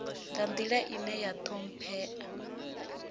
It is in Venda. nga nḓila ine ya ṱhomphea